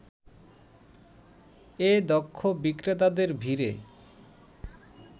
এ দক্ষ বিক্রেতাদের ভিড়ে